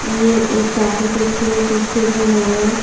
ये एक काफी खूबसूरत स्टेज बना हुआ है।